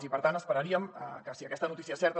i per tant esperaríem que si aquesta notícia és certa